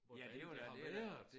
Hvor det er jeg har været